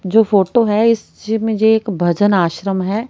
जो फोटो है इस ची में ये एक भजन आश्रम है।